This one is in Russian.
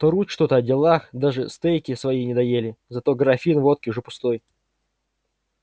трут что-то о делах даже стейки свои не доели зато графин водки уже пустой